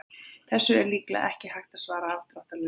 Þessu er líklega ekki hægt að svara afdráttarlaust.